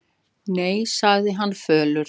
Nei, sagði hann fölur.